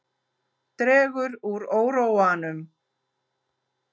Dregur úr óróanum